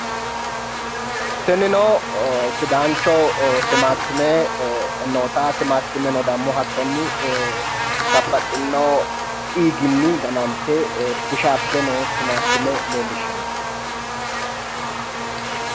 tinino sidaancho timaatime noota timaattimeno dammo hattonni babbaxxinno xiiginni ganante bushaabbe noo timaatime leellishshanno.